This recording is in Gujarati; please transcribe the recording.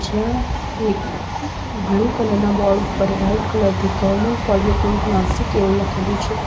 જ્યાં એક બ્લુ કલર ના બોર્ડ પર વાઈટ કલર થી ગવર્મેન્ટ પોલિટેકનિક નાસિક એવું લખેલું છે.